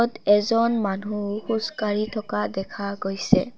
এজন মানুহ খোজ কাঢ়ি থকা দেখা গৈছে।